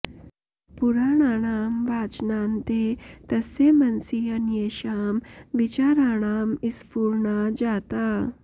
पुराणानां वाचनान्ते तस्य मनसि अन्येषां विचाराणां स्फुरणा जाता